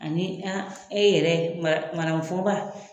Ani a e yɛrɛ madamu fɔnba